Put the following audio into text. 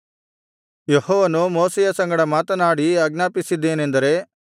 ಯೆಹೋವನು ಮೋಶೆಯ ಸಂಗಡ ಮಾತನಾಡಿ ಆಜ್ಞಾಪಿಸಿದ್ದೇನೆಂದರೆ